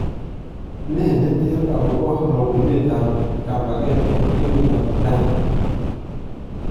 Nee neter akobo roobunet ab kaambakeet en emetab Iran?